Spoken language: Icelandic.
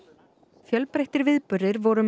fjölbreyttir viðburðir voru um